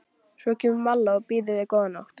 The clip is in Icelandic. Svo kemur Malla og býður mér góða nótt.